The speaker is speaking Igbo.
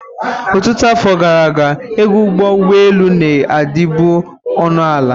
Ọtụtụ afọ gara aga, ego ụgbọ ụgbọelu na-adịbu ọnụ ala.